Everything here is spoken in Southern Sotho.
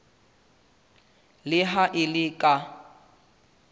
le ha e le ka